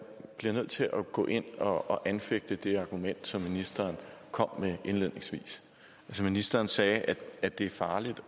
bliver nødt til at gå ind og anfægte det argument som ministeren kom med indledningsvis ministeren sagde at det er farligt